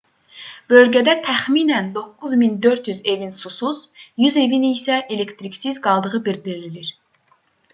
bölgədə təxminən 9400 evin susuz 100 evin isə elektriksiz qaldığı bildirilir